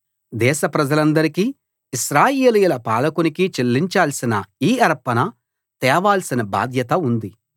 దేశ ప్రజలందరికీ ఇశ్రాయేలీయుల పాలకునికి చెల్లించాల్సిన ఈ అర్పణ తేవాల్సిన బాధ్యత ఉంది